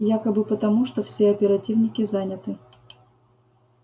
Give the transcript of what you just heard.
якобы потому что все оперативники заняты